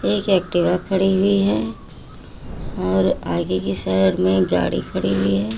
एक एक्टिवा खड़ी हुई है और आगे के साइड में गाड़ी खड़ी हुई है।